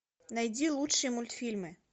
найди лучшие мультфильмы